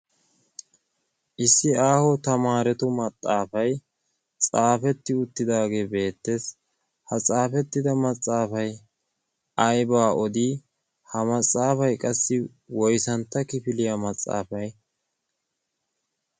issi aaho tamaaretu maxxaafay xaafetti uttidaage beettes. ha xaafetti uttida maxxaafay ayibaa odii? ha maxaafay qassi woysantta kifiliya maxxaafay?